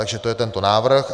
Takže to je tento návrh.